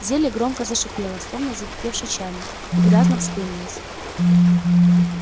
зелье громко зашипело словно закипевший чайник и грязно вспенилось